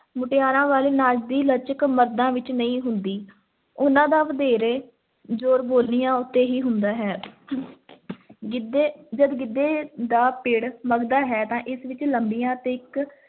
ਮੁਟਿਆਰਾਂ ਵਾਲੇ ਨਾਚ ਦੀ ਲਚਕ ਮਰਦਾਂ ਵਿੱਚ ਨਹੀਂ ਹੁੰਦੀ, ਉਹਨਾਂ ਦਾ ਵਧੇਰੇ ਜ਼ੋਰ ਬੋਲੀਆਂ ਉੱਤੇ ਹੀ ਹੁੰਦਾ ਹੈ ਗਿੱਧੇ ਜਦ ਗਿੱਧੇ ਦਾ ਪਿੱੜ ਮਘਦਾ ਹੈ ਤਾਂ ਇਸ ਵਿੱਚ ਲੰਬੀਆਂ ਤੇ ਇੱਕ